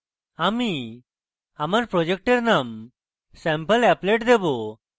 আমায় project name sampleapplet দেবো